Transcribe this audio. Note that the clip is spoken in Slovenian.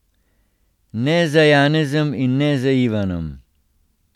Ne za Janezom in ne za Ivanom.